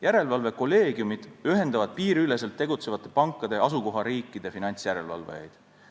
Järelevalvekolleegiumid ühendavad piiriüleselt tegutsevate pankade asukohariikide finantsjärelevalvajaid.